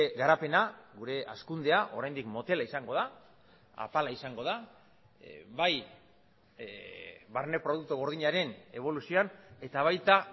garapena gure hazkundea oraindik motela izango da apala izango da bai barne produktu gordinaren eboluzioan eta baita